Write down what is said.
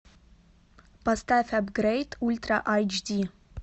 поставь апгрейд ультра эйч ди